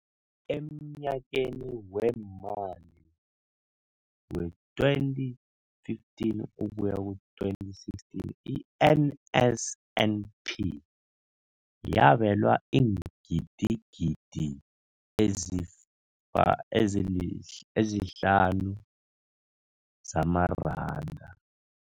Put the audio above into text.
Emnyakeni weemali we-2015 ukuya ku-2016, i-NSNP yabelwa iingidigidi ezi-5 703 zamaranda.